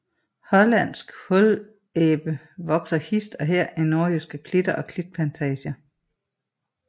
Hollandsk hullæbe vokser hist og her i nordjyske klitter og klitplantager